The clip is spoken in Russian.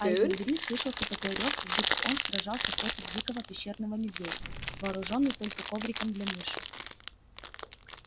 а из-за двери слышался такой рёв как будто он сражался против дикого пещерного медведя вооружённый только ковриком для мыши